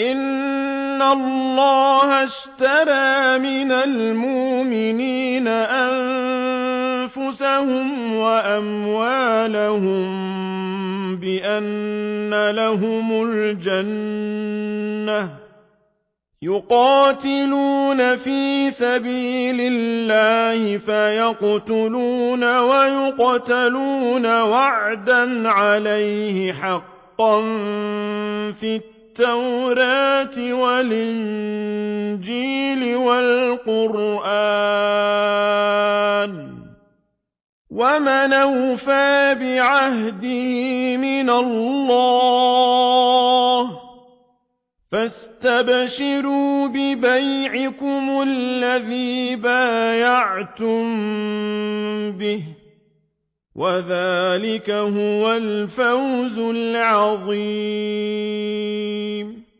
إِنَّ اللَّهَ اشْتَرَىٰ مِنَ الْمُؤْمِنِينَ أَنفُسَهُمْ وَأَمْوَالَهُم بِأَنَّ لَهُمُ الْجَنَّةَ ۚ يُقَاتِلُونَ فِي سَبِيلِ اللَّهِ فَيَقْتُلُونَ وَيُقْتَلُونَ ۖ وَعْدًا عَلَيْهِ حَقًّا فِي التَّوْرَاةِ وَالْإِنجِيلِ وَالْقُرْآنِ ۚ وَمَنْ أَوْفَىٰ بِعَهْدِهِ مِنَ اللَّهِ ۚ فَاسْتَبْشِرُوا بِبَيْعِكُمُ الَّذِي بَايَعْتُم بِهِ ۚ وَذَٰلِكَ هُوَ الْفَوْزُ الْعَظِيمُ